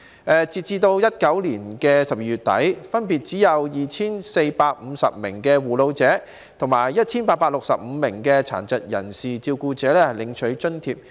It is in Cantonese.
截至2019年12月底，分別只有 2,450 名護老者及 1,865 名殘疾人士照顧者領取津貼。